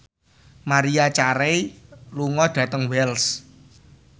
Maria Carey lunga dhateng Wells